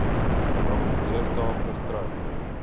nog deesdae vertrou